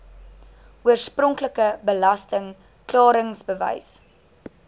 oorspronklike belasting klaringsbewys